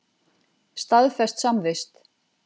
Staðfest samvist.